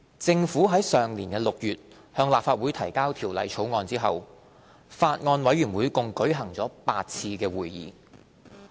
政府於上年6月向立法會提交《條例草案》後，法案委員會共舉行了8次會議。